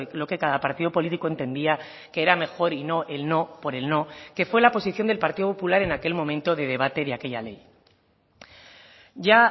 lo que cada partido político entendía que era mejor y no el no por el no que fue la posición del partido popular en aquel momento de debate de aquella ley ya